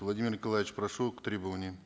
владимир николаевич прошу к трибуне